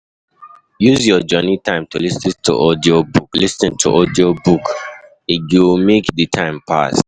Use your journey time to lis ten to audiobook, lis ten to audiobook, e go make the time pass.